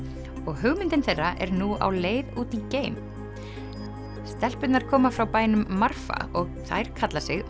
og hugmyndin þeirra er nú á leið út í geim stelpurnar koma frá bænum Marfa og þær kalla sig